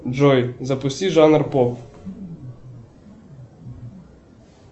джой запусти жанр поп